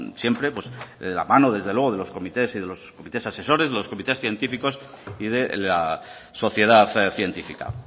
siempre pues de la mano desde luego de los comités y comités asesores de los comités científicos y de la sociedad científica